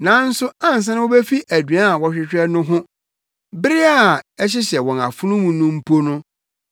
Nanso ansa na wobefi aduan a wɔhwehwɛ no ho, bere a ɛhyehyɛ wɔn anom mpo no,